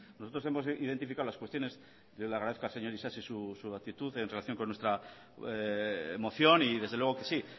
nosotros hemos identificado las cuestiones yo le agradezco al señor isasi su actitud en relación con nuestra moción y desde luego que sí